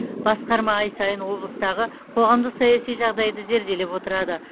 басқарма ай сайын облыстағы қоғамдық саяси жағдайды зерделеп отырады